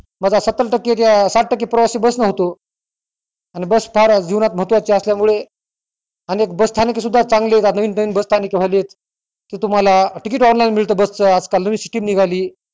मधात सत्तर टक्के त साठ टाके प्रवाशी बस न होतो आणि बस फार जीवनात महत्वाची असल्यामुळे अनेक बस स्थानके सुद्धा चांगली येतात नवीन नवीन बसस्थानके झाली तुम्हाला ticket online मिळत नवीन system निघाली